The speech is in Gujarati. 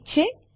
ઠીક છે